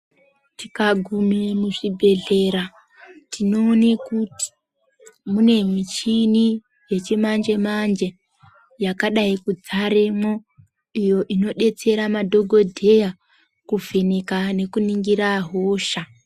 Tikagume muzvibhedhlera, tinoone kuti mune michini yechimanje-manje ,yakadai kudzaremwo, iyo inodetsera madhogodheya, kuvheneka nekuningira hosha.